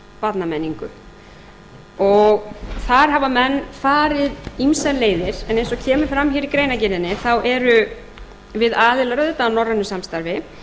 barnamenningu og þar hafa menn farið ýmsar leiðir en eins og kemur fram hér í greinargerðinni þá erum við aðilar auðvitað að norrænu samstarfi